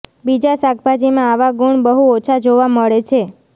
બીજા શાકભાજીમાં આવા ગુણ બહુ ઓછા જોવા મળે છે